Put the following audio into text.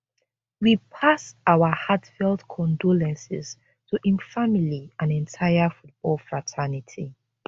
we pass our heartfelt condolences to im family and entire football fraternity